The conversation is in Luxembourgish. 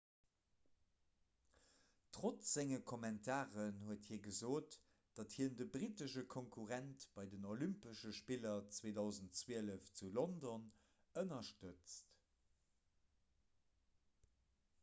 trotz senge kommentaren huet hie gesot datt hien de brittesche konkurrent bei den olympesche spiller 2012 zu london ënnerstëtzt